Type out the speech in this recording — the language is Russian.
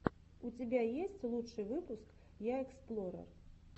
у тебя есть лучший выпуск я эксплорер